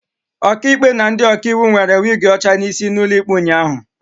Ọkaikpe na ndị ọkaiwu nwere wig ọcha n'isi n'ụlọ ikpe ụnyahụ